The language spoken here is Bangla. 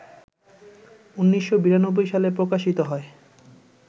১৯৯২ সালে প্রকাশিত হয়